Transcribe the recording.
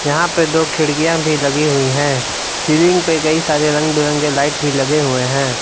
यहां पे दो खिड़कियां भी लगी हुई हैं सीलिंग पे कई सारे रंग बिरंगे लाइट भी लगे हुए हैं।